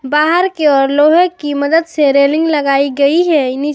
बाहर के और लोहे की मदद से रेलिंग लगाई गई है।